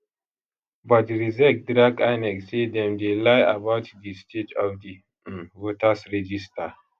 but rsiec drag inec say dem dey lie about di state of di um voters register